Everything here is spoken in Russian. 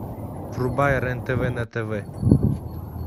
врубай рен тв на тв